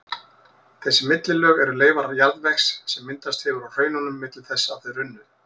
Þessi millilög eru leifar jarðvegs sem myndast hefur á hraununum milli þess að þau runnu.